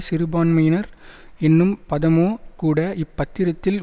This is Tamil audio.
சிறுபான்மையினர் எனும் பதமோ கூட இப் பத்திரத்தில்